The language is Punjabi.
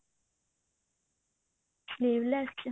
sleeve less ਚ